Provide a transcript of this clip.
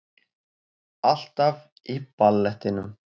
Alltaf í ballettinum